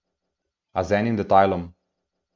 A z enim detajlom.